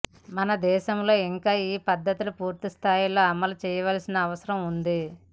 మన దేశంలో ఇంకా ఈ పద్థతి పూర్తిస్థాయిలో అమలు చేయాల్సిన అవసరం ఉంది